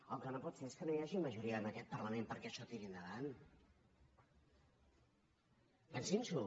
el que no pot ser és que no hi hagi majoria en aquest parlament perquè això tiri endavant pensin s’ho